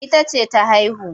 Ita ce ta haihu.